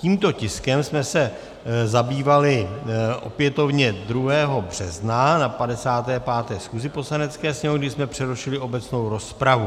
Tímto tiskem jsme se zabývali opětovně 2. března na 55. schůzi Poslanecké sněmovny, kdy jsme přerušili obecnou rozpravu.